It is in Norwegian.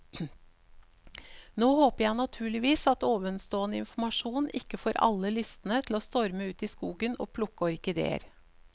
Nå håper jeg naturligvis at ovenstående informasjon ikke får alle lystne til å storme ut i skogen og plukke orkideer.